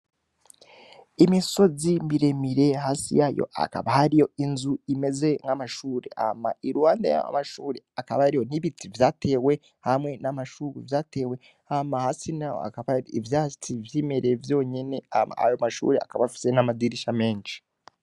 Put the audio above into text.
Imisozi miremire hasi yayo akaba hari yo inzu imeze nk'amashuri ama i rwanda y'mashuri akaba ari yo ntibiti vyatewe hamwe n'amashuru vyatewe hama hasi na yo akabar ivyatsi vyimereye vyonyene ama ayo mashuri akabafise n'amadirisha menshi.